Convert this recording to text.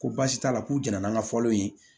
Ko baasi t'a la k'u jɛnna n'an ka fɔlenw ye